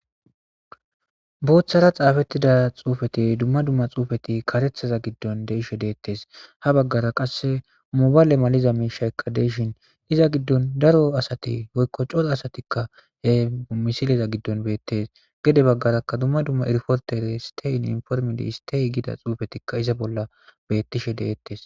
boththara xafettida xufeti dumma dumma xufeti kareththaza giddon de'she detees ha baggara qasse mobale maliza miishaykka deshin iza giddon daro asati woykko coxa asatikka he misiliza giddon beettes gede baggarakka dumma dumma irporte istey informiidi istey gida xuufetikka iza bolla bettishe de'tees